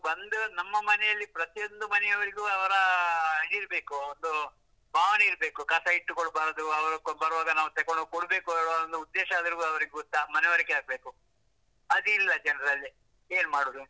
ಬಂದು ನಮ್ಮ ಮನೆಯಲ್ಲಿ ಪ್ರಯೊಂದು ಮನೆಯವರಿಗೂ ಅವರ ಇದ್ ಇರ್ಬೇಕು, ಒಂದು ಭಾವನೆ ಇರ್ಬೇಕು, ಕಸ ಇಟ್ಟುಕೊಳ್ಬಾರ್ದು ಅವರು ಬರುವಾಗ ನಾವು ತಗೊಂಡು ಹೋಗ್ ಕೊಡ್ಬೇಕು ಹೇಳುವ ಒಂದು ಉದ್ದೇಶ ಆದ್ರು ಅವರಿಗೆ ಗೊತ್ತಾ ಮನವರಿಕೆ ಆಗ್ಬೇಕು, ಅದಿಲ್ಲ ಜನರಲ್ಲಿ, ಏನ್ ಮಾಡುದು.